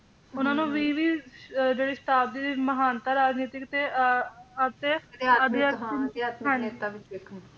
ਉਹਨਾਂ ਨੂੰ ਵੀਹ ਵੀਹ ਅਹ ਜਿਹੜੀ ਸ਼ਤਾਬਦੀ ਦੀ ਮਹਾਨਤਾ ਰਾਜਨੀਤਿਕ ਤੇ ਅਹ ਅਤੇ ਅਧਿਆਤਮਕ ਨੇਤਾ ਵੀ ਸੀ ਗੇ